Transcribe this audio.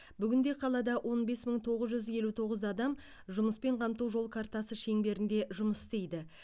бүгінде қалада он бес мың тоғыз жүз елу тоғыз адам жұмыспен қамту жол картасы шеңберінде жұмыс істейді